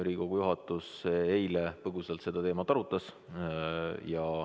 Riigikogu juhatus eile põgusalt seda teemat arutas.